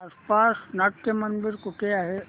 आसपास नाट्यमंदिर कुठे आहे